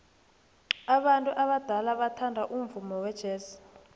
abantu abadala bathanda umvumo wejazz